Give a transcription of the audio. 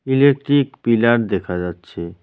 Electric pillar দেখা যাচ্ছে।